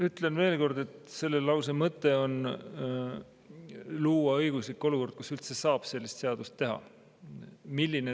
Ütlen veel kord, et selle mõte on luua õiguslik olukord, kus üldse saab sellist seadust teha.